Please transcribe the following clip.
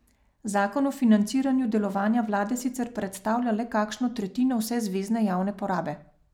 Zakon o financiranju delovanja vlade sicer predstavlja le kakšno tretjino vse zvezne javne porabe.